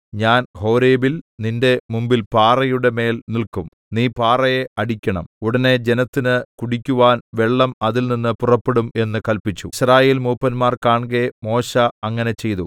ഞാൻ ഹോരേബിൽ നിന്റെ മുമ്പിൽ പാറയുടെ മേൽ നില്ക്കും നീ പാറയെ അടിക്കണം ഉടനെ ജനത്തിന് കുടിക്കുവാൻ വെള്ളം അതിൽനിന്ന് പുറപ്പെടും എന്ന് കല്പിച്ചു യിസ്രായേൽമൂപ്പന്മാർ കാൺകെ മോശെ അങ്ങനെ ചെയ്തു